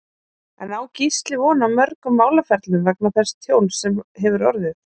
En á Gísli von á mörgum málaferlum vegna þess tjóns sem hefur orðið?